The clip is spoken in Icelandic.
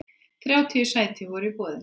Þrjátíu sæti voru í boði.